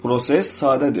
Proses sadədir.